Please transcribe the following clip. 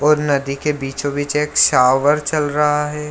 और नदी के बीचों-बीच एक शावर चल रहा है।